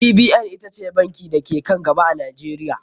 CBN ita ce banki da ke ka n gaba a Najeriya.